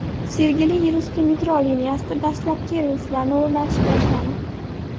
Sergeli yerusti metro liniyasida dastlabki relslarni o‘rnatish boshlandi .